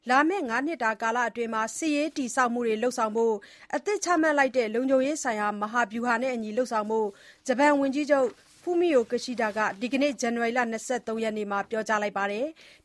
လာမယ့် ၅ နှစ်အတွင်း စစ်ရေးတည်ဆောက်မှုတွေ လုပ်ဆောင်ဖို့ အသစ် ချမှတ်ခဲ့တဲ့ လုံံခြုံရေးဆိုင်ရာ မဟာဗျူဟာနဲ့အညီလုပ်ဆောင်ဖို့ ဝန်ကြီးချုပ် ဖူမီယိုကီရှီဒါ (Fumio Kishida) က ဒီကနေ့ ဇန်နဝါရီ ၂၃ ရက်နေ့မှာ ပြောကြားလိုက်ပါတယ်။